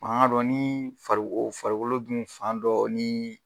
An k'a dɔn ni farikolo dun fan dɔ ni